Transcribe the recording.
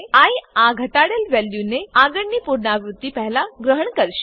I આ ઘટાડેલ વેલ્યુને આગળની પુનરાવૃત્તિ પહેલા ગ્રહણ કરશે